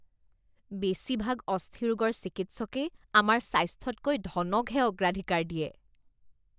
বেছিভাগ অস্থিৰোগৰ চিকিৎসকেই আমাৰ স্বাস্থ্যতকৈ ধনকহে অগ্ৰাধিকাৰ দিয়ে